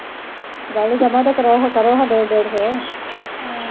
ਗੱਲ ਦਮਾ ਤਾ ਕਰਾਓ ਹਾਂ ਕਰੋ ਹਾਂ ਡੇਢ ਡੇਢ ਸੌ